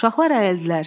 Uşaqlar əyildilər.